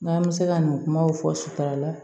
N'an bɛ se ka nin kumaw fɔ suturala